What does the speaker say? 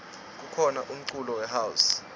kukhona umculo we house